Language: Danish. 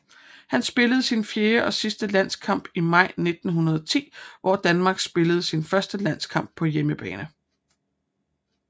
Han spillede sin fjerde og sidste landskamp i maj 1910 hvor Danmark spillede sin første landskamp på hjemmebane